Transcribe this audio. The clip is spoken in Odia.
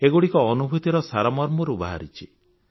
ଏଗୁଡ଼ିକ ଅନୁଭୂତିର ସାରମର୍ମରୁ ବାହାରିଛି